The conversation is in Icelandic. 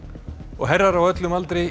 herrar á öllum aldri í